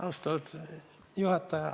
Austatud juhataja!